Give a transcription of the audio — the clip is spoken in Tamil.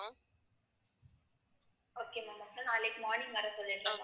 okay mam அப்புறம் நாளைக்கு morning வரசொல்லிருக்கேன்